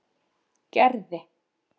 Gerði